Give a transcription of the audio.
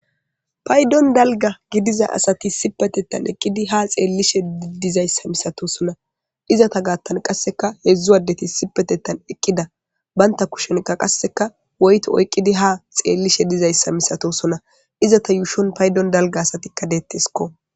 paydon dalga gidiza asati sipetetan eqqidi ha xeellishe idizayssa misato sona izata gaattan qasseka heedzdzu waddeti sipetetan eqqida baynta kushonkka qasseka woyti oyqqidi ha xeellishe dizayssa misato sona izata yuushon paydon dalga asatikka deettesko